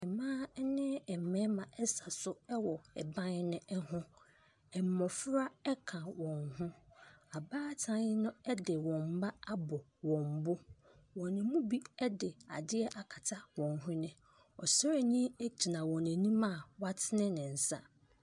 Mmaa ne mmarima sa so wɔ ban no ho. Mmɔfra ka wɔn ho. Abaatan no de wɔn mma abɔ wɔn bo. Wɔn mu bi de adeɛ akata wɔn hwene. Ɔsraani gyina wɔn anim a watene ne nsa.